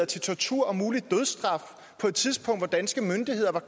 til tortur og mulig dødsstraf på et tidspunkt hvor danske myndigheder